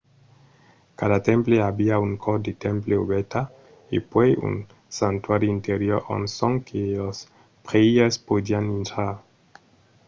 cada temple aviá una cort de temple obèrta e puèi un santuari interior ont sonque los prèires podián intrar